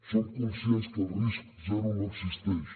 som conscients que el risc zero no existeix